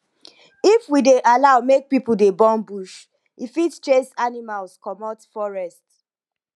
if we dey allow make people dey burn bush e fit chase animals comot forest